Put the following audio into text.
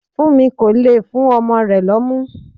Funmi kò le fún ọmọ rẹ̀ lómu.